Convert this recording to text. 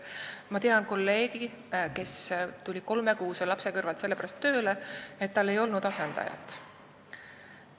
Ma tean kolleegi, kes tuli kolmekuuse lapse kõrvalt tööle, sest tal ei olnud asendajat.